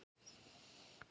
Maður vandaði til verka.